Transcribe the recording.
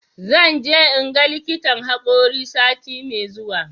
Zan je in ga likitan haƙori sati mai zuwa.